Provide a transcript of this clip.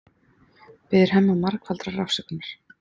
Biður Hemma margfaldrar afsökunar.